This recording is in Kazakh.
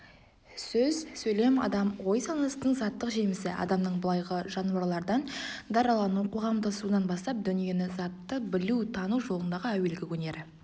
сөз сөйлем адам ой-санасының заттық жемісі адамның былайғы жануарлардан даралану-қоғамдасуынан бастап дүниені затты білу тану жолындағы әуелгі өнері